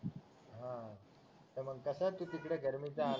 हा हा तर मग तू कसा तिकडं गर्मीचा